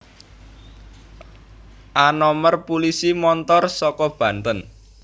A nomer pulisi montor saka Banten